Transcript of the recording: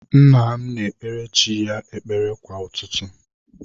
Nna m na-ekpegara chi ya ekpere kwa ụtụtụ.